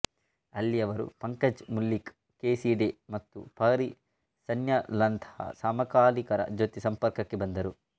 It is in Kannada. ಅಲ್ಲಿ ಅವರು ಪಂಕಜ್ ಮುಲ್ಲಿಕ್ ಕೆ ಸಿ ಡೇ ಮತ್ತು ಪಹರಿ ಸನ್ಯಾಲ್ರಂತಹ ಸಮಕಾಲೀನರ ಜೊತೆ ಸಂಪರ್ಕಕ್ಕೆ ಬಂದರು